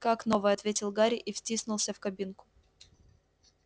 как новая ответил гарри и втиснулся в кабинку